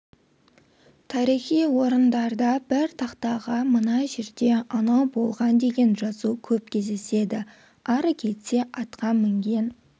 тарихи орындарда бір тақтаға мына жерде анау болған деген жазу көп кездеседі ары кетсе атқа мінген